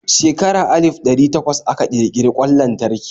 Shekara alif ɗari takwas aka kirkiri kwan lantarki.